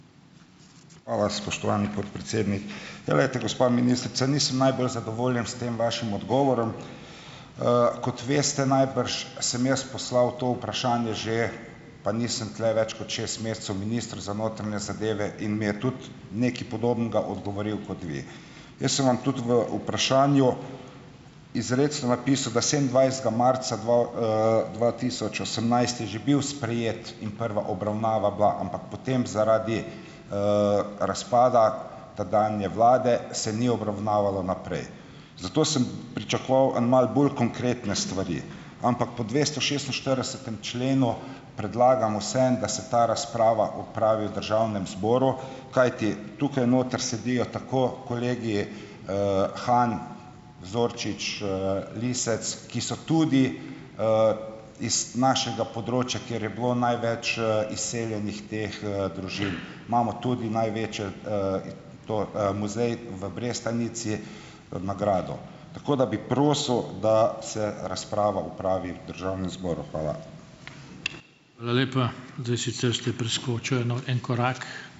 Hvala, spoštovani podpredsednik. Ja, glejte, gospa ministrica, nisem najbolj zadovoljen s tem vašim odgovorom. Kot veste najbrž, sem jaz poslal to vprašanje že - pa nisem tule več kot šest mesecev - ministru za notranje zadeve in mi je tudi nekaj podobnega odgovoril kot vi. Jaz sem vam tudi v vprašanju izrecno napisal, da sedemindvajsetega marca dva, dva tisoč osemnajst je že bil sprejet in prva obravnava bila, ampak potem zaradi, razpada tedanje vlade se ni obravnavalo naprej. Zato sem pričakoval en malo bolj konkretne stvari, ampak po dvestošestinštiridesetem členu predlagam vseeno, da se ta razprava opravi v državnem zboru, kajti tukaj noter sedijo tako kolegi, Han, Zorčič, Lisec, ki so tudi, iz našega področja, kjer je bilo največ, izseljenih teh, družin. Imamo tudi največje, to, muzej v Brestanici, na gradu. Tako da bi prosil, da se razprava opravi v državnem zboru. Hvala.